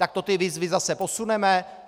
Tak to ty výzvy zase posuneme?